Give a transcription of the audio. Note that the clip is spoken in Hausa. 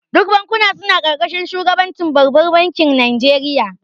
Duk bankuna suna karkashin shugabancin babbar bankin Najeriya